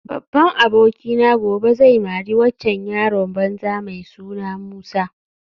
Babban abokina gobe zai mari waccan yaron banza mai suna Musa